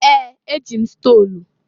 Ee! Eji m stolu.